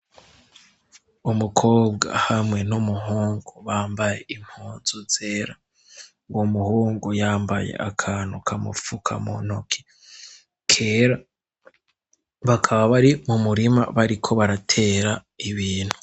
Umukobwa hamwe n'umuhungu bambaye impunzu zera, uwo muhungu yambaye akantu kamupfuka mu ntoki kera bakaba bari mu murima bariko baratera ibintu.